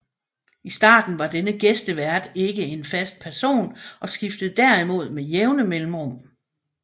I starten var denne gæstevært ikke en fast person og skiftede derimod med jævne mellemrum